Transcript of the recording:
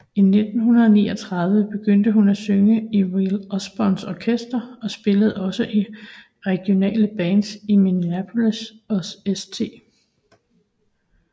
I 1939 begyndte hun at synge i Will Osborns orkester og spillede også i regionale bands i Minneapolis og St